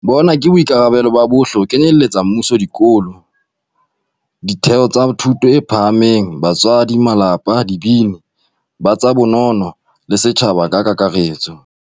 Bona ke boikarabelo ba bohle ho kenyeletsa mmuso, dikolo, ditheo tsa thuto e phahameng, batswadi, malapa, dibini, ba tsa bonono, le setjhaba ka kakaretso.